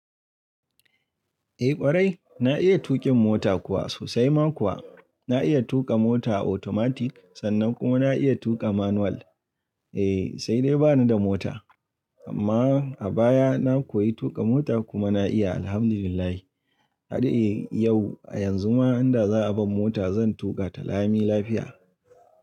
Eh ƙwarai, na iya tuƙin mota kuwa sosai ma kuwa, na iya tuƙa mota automatic sannan kuma na iya tuƙa manual. Eh sai dai bani da mota amma a baya na koyi tuƙa mota kuma na iya Alhamdulillah. Har yau, a yanzu ma in da za a bani mota zan tuƙa ta lami lafiya.